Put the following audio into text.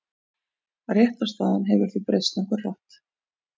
Réttarstaðan hefur því breyst nokkuð hratt.